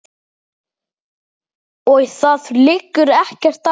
Og það liggur ekkert á.